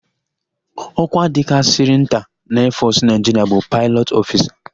Ọ́kwá dịkarịsịrị nta na eefọsụ Naịjiria bụ Paịlọt ọfisa.